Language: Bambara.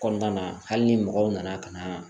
Kɔnɔna na hali ni mɔgɔw nana ka na